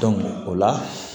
o la